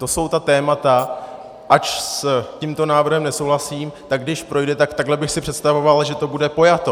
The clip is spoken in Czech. To jsou ta témata, ač s tímto návrhem nesouhlasím, tak když projde, tak takhle bych si představoval, že to bude pojato.